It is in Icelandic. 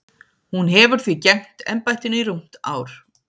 Hún hefur því gegnt embættinu í rúmt ár.